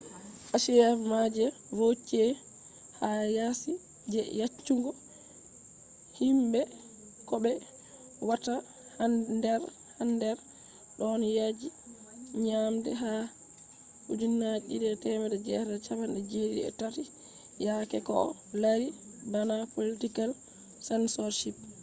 achievements je vautier ha yasi je yeccugo himbe ko be watta hander don yaji nyamde ha 1973 yaake ko o lari bana political censorship